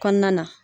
Kɔnɔna na